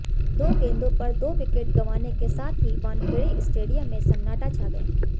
दो गेंदों पर दो विकेट गंवाने के साथ ही वानखेड़े स्टेडियम में सन्नाटा छा गया